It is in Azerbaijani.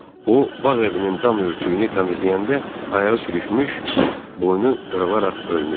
O bağ evinin dam örtüyünü təmizləyəndə ayağı sürüşmüş, boynu qırılaraq ölmüşdü.